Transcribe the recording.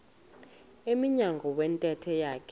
emnyango wentente yakhe